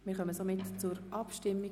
Wir kommen zur Abstimmung.